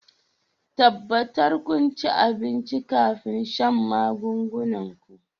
tabbatar kun ci abinci kafin shan magungunan ku